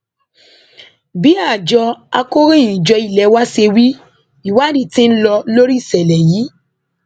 bí àjọ akọròyìnjọ ilé wa ṣe wí ìwádìí tí ń lọ lórí ìṣẹlẹ yìí